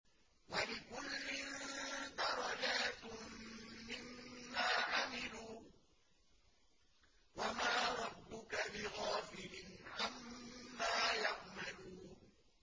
وَلِكُلٍّ دَرَجَاتٌ مِّمَّا عَمِلُوا ۚ وَمَا رَبُّكَ بِغَافِلٍ عَمَّا يَعْمَلُونَ